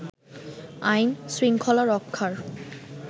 আইন, শৃঙ্খলা রক্ষার